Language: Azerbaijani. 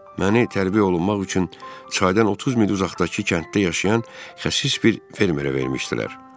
Məni tərbiyə olunmaq üçün çaydan 30 min uzaqdakı kənddə yaşayan xəsis bir fermerə vermişdilər.